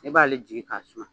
E b'ale jigi k'a suma